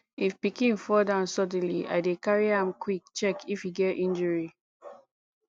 if pikin fall down suddenly i dey carry am quick check if e get injury